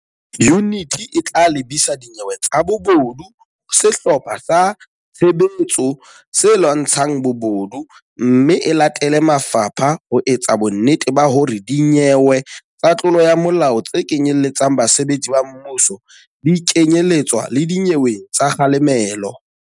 Yuniti e tla lebisa dinyewe tsa bobodu ho Sehlopha sa Tshebetso se Lwantsha ng Bobodu mme e latele mafapha ho etsa bonnete ba hore dinyewe tsa tlolo ya molao tse kenyeletsang basebetsi ba mmuso di kenye letswa le dinyeweng tsa kga lemelo.